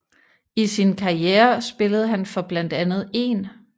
I sin karriere spillede han for blandt andet 1